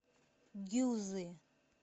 гюзы